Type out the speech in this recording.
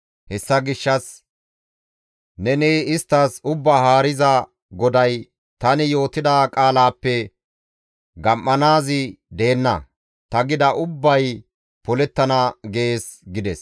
Hessa gishshas neni isttas, ‹Ubbaa Haariza GODAY: tani yootida qaalaappe gam7anaazi deenna; ta gida ubbay polettana› gees» gides.